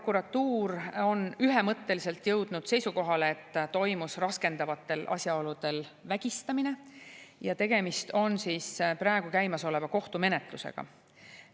Prokuratuur on ühemõtteliselt jõudnud seisukohale, et toimus raskendavatel asjaoludel vägistamine, ja tegemist on praegu käimas oleva kohtumenetlusega.